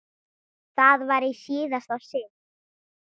Það var í síðasta sinn.